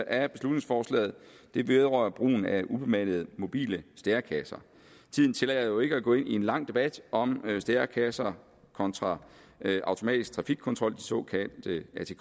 af beslutningsforslaget vedrører brugen af ubemandede mobile stærekasser tiden tillader jo ikke at gå ind i en lang debat om stærekasser kontra automatisk trafikkontrol de såkaldte atk